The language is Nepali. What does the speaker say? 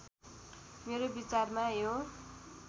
मेरो विचारमा यो